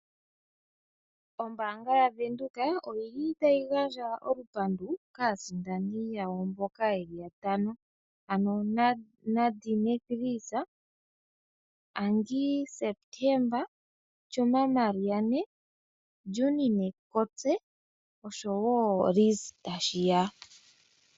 Ombanga yaVenduka oyili tayi gandja olupandu kaasindani yawo mboka yeli ya tano Nadine Frizt, Junine Kortze, Angie September, Chima Mariane na Liz Tashiya.